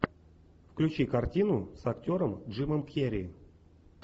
включи картину с актером джимом керри